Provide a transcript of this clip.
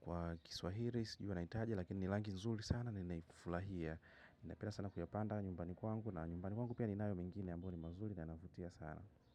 kwa Kiswahili sijui wanaitaje, lakini ni rangi nzuri sana, ninaifurahia. Ninapenda sana kuyapanda nyumbani kwangu. Na nyumbani kwangu pia ninayo mengine ambayo ni mazuri na yanavutia sana.